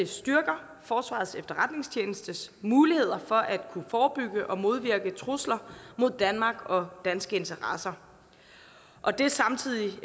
styrker forsvarets efterretningstjenestes muligheder for at kunne forebygge og modvirke trusler mod danmark og danske interesser og det samtidig